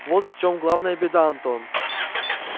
вот в чём главная беда антон